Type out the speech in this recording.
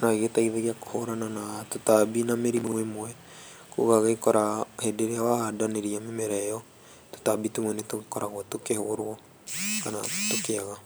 no ĩgĩteithagia kũhũrana na tũtambi na mĩrimũ ĩmwe ũgagĩkora hĩndĩ ĩria wahandanĩria mĩmera ĩyo tũtambi tumwe nĩ tũgĩkoragwo tũkĩhũrwokana tũkĩaga.